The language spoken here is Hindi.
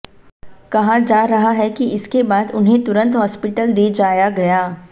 कहा जा रहा है कि इसके बाद उन्हें तुरंत हॉस्पिटल दे जाया गया